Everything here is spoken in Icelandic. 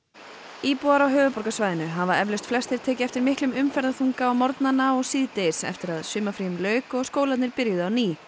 íbúar á höfuðborgarsvæðinu hafa eflaust flestir tekið eftir miklum á morgnana og síðdegis eftir að sumarfríum lauk og skólarnir byrjuðu á ný